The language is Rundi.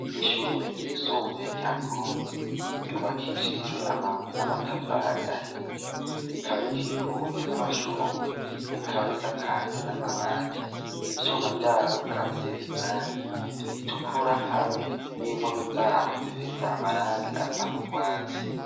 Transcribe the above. Ishure ryisumbuye rya Ngozi ryubakishijwe amabuye n'amatafari ahiye. Rikaba rikikujwe n'amashugwe rikaba risakajwe n'amabati. Ivyuma vyaho bikaba risize irangi ritukura, hamwe n'impome zaho zifise amarangi asa n'urwatsi.